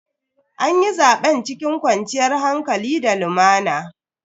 Anyi zaben cikin kwanciyar hankali da lumana.